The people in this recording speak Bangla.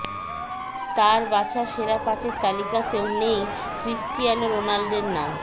তার বাছা সেরা পাঁচের তালিকাতেও নেই ক্রিশ্চিয়ানো রোনাল্ডোর নাম